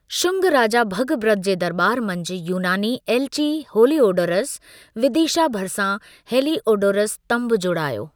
शुंग राजा भगभद्र जे दरॿार मंझि यूनानी एलिची हेलिओडोरस, विदिशा भरिसां हेलिओडोरस स्तंभु जोड़ायो।